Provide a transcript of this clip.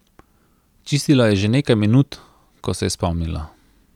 Čistila je že nekaj minut, ko se je spomnila.